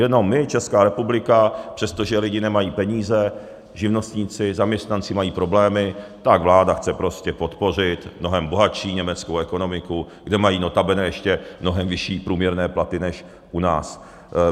Jenom my, Česká republika, přestože lidi nemají peníze, živnostníci, zaměstnanci mají problémy, tak vláda chce prostě podpořit mnohem bohatší německou ekonomiku, kde mají notabene ještě mnohem vyšší průměrné platy než u nás.